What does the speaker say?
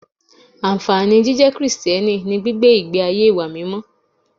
Ànfàní jíjẹ́ Krìsìtẹ́nì ni gbígbé ìgbé ayé ìwà mímọ́